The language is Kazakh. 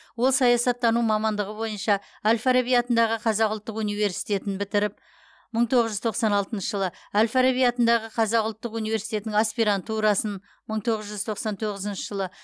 ол саясаттану мамандығы бойынша әл фараби атындағы қазақ ұлттық университетін бітіріп мың тоғыз жүз тоқсан алтыншы жылы әл фараби атындағы қазақ ұлттық университетінің аспирантурасын мың тоғыз жүз тоқсан тоғызыншы жылы